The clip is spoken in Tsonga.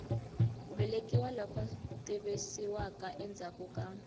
velekiwa loku tivisiwaka endzhaku ka